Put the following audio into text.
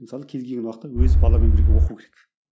мысалы кез келген уақытта өзі баламен бірге оқу керек